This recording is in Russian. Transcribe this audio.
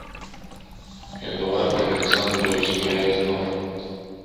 эдуард александрович грязнов